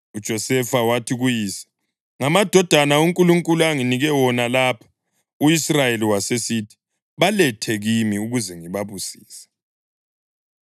UJosefa wathi kuyise, “Ngamadodana uNkulunkulu anginike wona lapha.” U-Israyeli wasesithi, “Balethe kimi ukuze ngibabusise.”